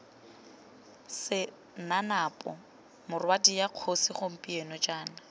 senanapo morwadia kgosi gompieno jaana